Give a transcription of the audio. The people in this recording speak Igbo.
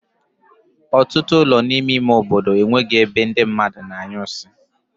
Otutu ulo n'ime ime obodo e nweghi ebe di mma a na-anyu nsi m